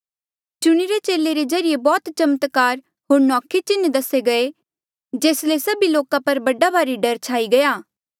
चुणिरे चेले रे ज्रीए बौह्त चमत्कार होर नौखे चिन्ह दसे गये जेस ले सभी लोका पर बड़ा भारी डर छाई गया